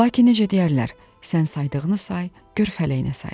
Lakin necə deyərlər, sən saydığını say, gör fələyinə sayır.